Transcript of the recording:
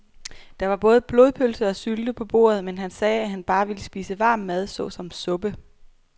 Der var både blodpølse og sylte på bordet, men han sagde, at han bare ville spise varm mad såsom suppe.